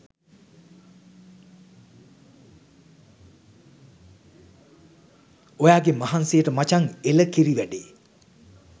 ඔයාගේ මහන්සියට මචන් එල කිරි වැඩේ